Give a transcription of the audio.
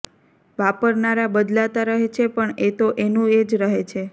વાપરનારા બદલાતા રહે છે પણ એ તો એનું એ જ રહે છે